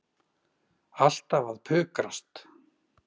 Alltaf að pukrast.